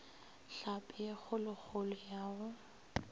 hlapi ye kgolokgolo ya go